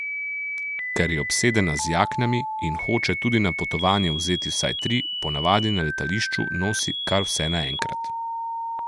Ker je obsedena z jaknami in hoče tudi na potovanje vzeti vsaj tri, ponavadi na letališču nosi kar vse naenkrat.